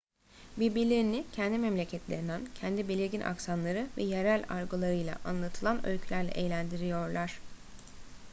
birbirlerini kendi memleketlerinden kendi belirgin aksanları ve yerel argolarıyla anlatılan öykülerle eğlendiriyorlar